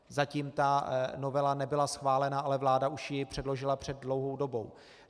Zatím ta novela nebyla schválena, ale vláda už ji předložila před dlouhou dobou.